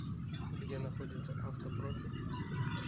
где находится авто профи